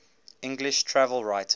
english travel writers